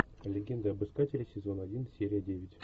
легенда об искателе сезон один серия девять